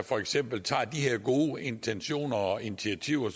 for eksempel tager de her gode intentioner og initiativer